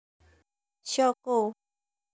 Shaw Co